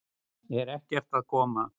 Ert ekki að koma?